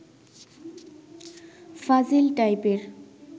ফাজিল টাইপের